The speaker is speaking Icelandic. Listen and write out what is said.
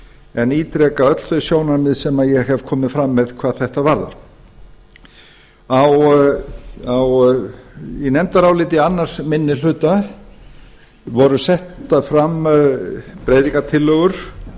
en ítreka öll þau sjónarmið sem ég hef komið fram með hvað þetta varðar í nefndaráliti annar minni hluta voru settar fram breytingartillögur